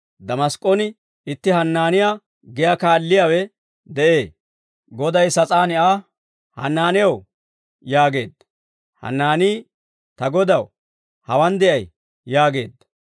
Damask'k'on itti Hanaaniyaa giyaa kaalliyaawe de'ee; Goday sas'aan Aa, «Hanaanew» yaageedda. Hanaanii, «Ta Godaw, hawaan de'ay» yaageedda.